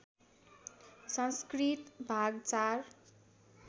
संस्कृति भाग ४